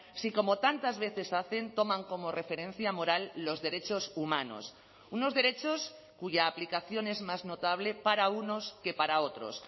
si como tantas veces hacen toman como referencia moral los derechos humanos unos derechos cuya aplicación es más notable para unos que para otros